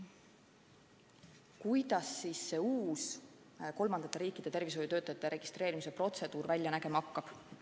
Kuidas siis see uus kolmandate riikide tervishoiutöötajate registreerimise protseduur välja nägema hakkab?